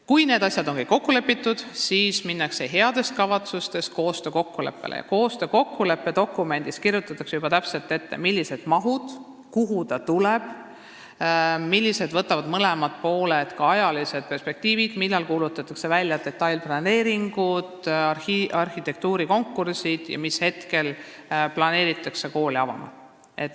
Kui need asjad on kõik kokku lepitud, siis kirjutatakse heade kavatsuste koostöökokkuleppe dokumendis juba täpselt ette, millised on mahud, kuhu see kool tuleb, milline on ajaline perspektiiv, millal kuulutatakse välja detailplaneeringud ja arhitektuurikonkursid ning mis ajal planeeritakse kool avada.